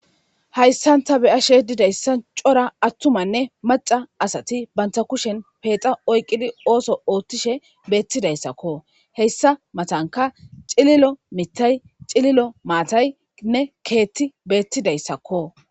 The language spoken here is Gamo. Hayssan ta beyashe didayssa cora attumanne maca asati banta kushen peexa oyqqidi ooso oothtishe beettidayssakko heyssa matanka cililo mitay cililo maataynne keetti beettidayssakko